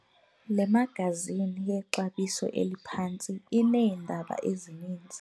Le magazini yexabiso eliphantsi ineendaba ezininzi.